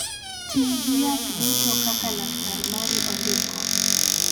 Ti gi yath duto kaka laktar mari ondiko.